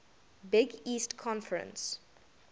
big east conference